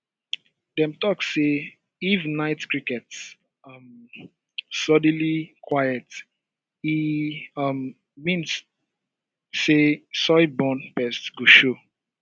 dem talk say if night crickets um suddenly quiet e um mean say soil-borne pests go show